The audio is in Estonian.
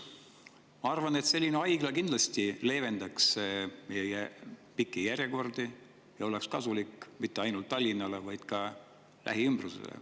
Ma arvan, et selline haigla kindlasti leevendaks pikki järjekordi ja oleks kasulik mitte ainult Tallinnale, vaid ka selle lähiümbrusele.